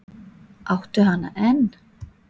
Áttu hana enn?